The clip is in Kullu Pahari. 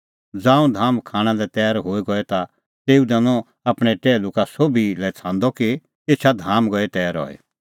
ज़ांऊं धाम खाणां लै तैर गई हई ता तेऊ दैनअ आपणैं टैहलू का सोभी लै छ़ांदअ कि एछा धाम गई तैर हई